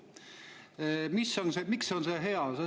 Miks see on hea?